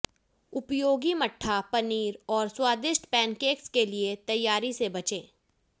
उपयोगी मट्ठा पनीर और स्वादिष्ट पेनकेक्स के लिए तैयारी से बचे